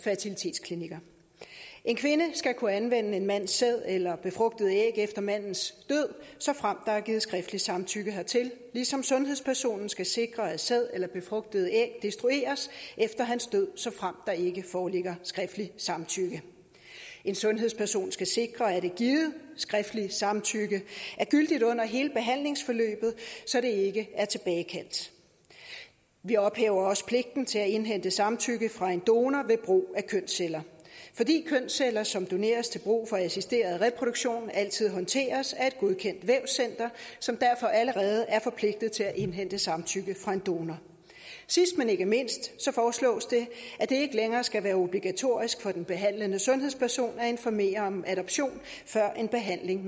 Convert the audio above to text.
fertilitetsklinikker en kvinde skal kunne anvende en mands sæd eller befrugtede æg efter mandens død såfremt der er givet skriftligt samtykke hertil ligesom sundhedspersonen skal sikre at sæd eller befrugtede æg destrueres efter hans død såfremt der ikke foreligger skriftligt samtykke en sundhedsperson skal sikre at et givet skriftligt samtykke er gyldigt under hele behandlingsforløbet så det ikke er tilbagekaldt vi ophæver også pligten til at indhente samtykke fra en donor ved brug af kønsceller fordi kønsceller som doneres til brug for assisteret reproduktion altid håndteres af et godkendt vævscenter som derfor allerede er forpligtet til at indhente samtykke fra en donor sidst men ikke mindst foreslås det at det ikke længere skal være obligatorisk for den behandlende sundhedsperson at informere om adoption før en behandling